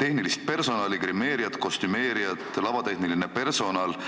tehnilisest personalist: grimeerijaid, kostümeerijaid, lavatehnilist personali.